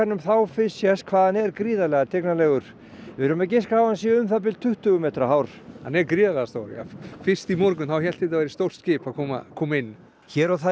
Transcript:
þá fyrst sést hvað hann er gríðarlega tignarlegur við erum að giska á að hann sé um það bil tuttugu metra hár hann er gríðarlega stór já fyrst í morgun hélt þetta væri stórt skip að koma koma inn hér og þar í